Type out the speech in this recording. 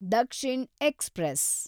Dakshin express